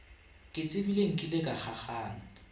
ke tsebile nkile ka kgakgana